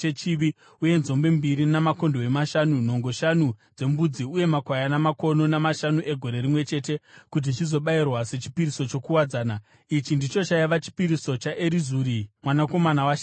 uye nzombe mbiri, makondobwe mashanu, nhongo shanu dzembudzi uye makwayana makono mashanu egore rimwe chete, kuti zvizobayirwa sechipiriso chokuwadzana. Ichi ndicho chaiva chipiriso chaErizuri mwanakomana waShedheuri.